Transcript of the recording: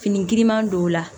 Fini giriman don la